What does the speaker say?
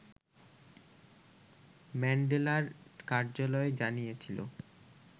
ম্যান্ডেলার কার্যালয় জানিয়েছিল